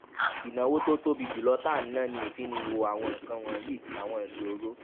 ìnáwó tó tóbi jù lọ tá à ń ná ni ìfiniwo àwọn nǹkan wònyí àwọn ìṣòro